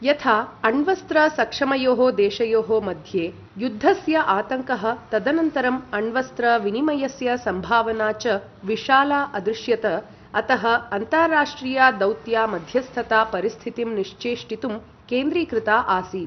यथा अण्वस्त्र सक्षमयोः देशयोः मध्ये युद्धस्य आतङ्कः, तदनन्तरं अण्वस्त्र विनिमयस्य सम्भावना च विशाला अदृश्यत, अतः अन्ताराष्ट्रिया दौत्या मध्यस्थता परिस्थितिं निश्चेष्टितुं केन्द्रीकृता आसीत्।